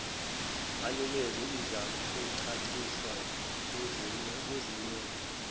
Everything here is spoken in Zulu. anikeziwe izakucaciswa kuzimemo